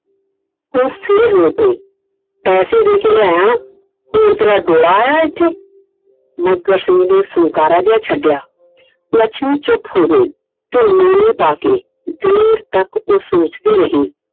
ਫਿਰ ਰੋ ਪਈ ਪੈਸੇ ਦੇ ਕੇ ਲੀਆਂ ਹੋਰ ਤੇਰਾ ਆਇਆ ਇੱਥੇ Iਮੱਘਰ ਸਿੰਘ ਨੇ ਫੁੰਕਾਰਾ ਜਿਹਾ ਛੱਡਿਆ ਲੱਛਮੀ ਚੁੱਪ ਹੋ ਗਈ ਉਹ ਨੀਵੀ ਪਾ ਕੇ ਦੇਰ ਤੱਕ ਉਹ ਸੋਚਦੀ ਰਹੀ I